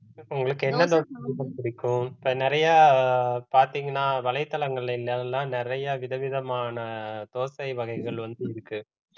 உங்களுக்கு என்ன தோசை பிடிக்கும் இப்ப நிறைய பாத்தீங்கன்னா வலைத்தளங்கள்ல எல்லாம் நிறைய விதவிதமான தோசை வகைகள் வந்து இருக்கு